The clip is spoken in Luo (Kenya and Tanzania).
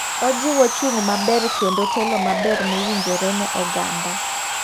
Ojiwo chung' maber kendo telo maber mowinjore ne oganda.